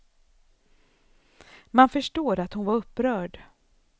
Man förstår att hon var upprörd.